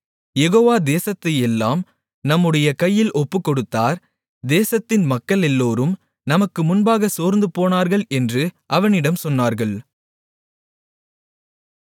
யெகோவா தேசத்தையெல்லாம் நம்முடைய கையில் ஒப்புக்கொடுத்தார் தேசத்தின் மக்களெல்லோரும் நமக்கு முன்பாகச் சோர்ந்துபோனார்கள் என்று அவனிடம் சொன்னார்கள்